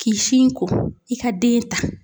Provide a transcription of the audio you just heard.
K'i sin ko i ka den ta.